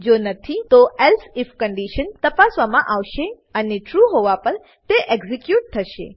જો નથી તો એલ્સે આઇએફ કંડીશન તપાસવામાં આવશે અને ટ્રુ હોવા પર તે એક્ઝીક્યુટ થશે